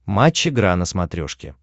матч игра на смотрешке